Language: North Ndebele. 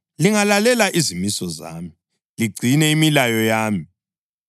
Lingalalela izimiso zami, ligcine imilayo yami,